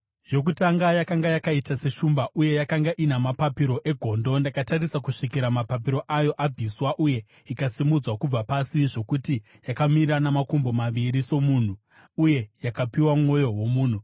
“Yokutanga yakanga yakaita seshumba, uye yakanga ina mapapiro egondo. Ndakatarisa kusvikira mapapiro ayo abviswa uye ikasimudzwa kubva pasi zvokuti yakamira namakumbo maviri somunhu, uye yakapiwa mwoyo womunhu.